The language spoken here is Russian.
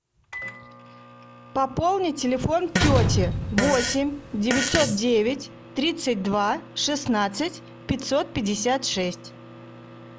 пополни телефон тети восемь девятьсот девять тридцать два шестнадцать пятьсот пятьдесят шесть